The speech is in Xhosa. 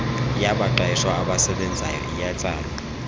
yabaqeshwa abasebenzayo iyatsalwa